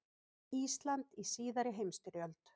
Ísland í síðari heimsstyrjöld.